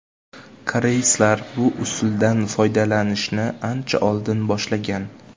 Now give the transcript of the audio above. Koreyslar bu usuldan foydalanishni ancha oldin boshlagan .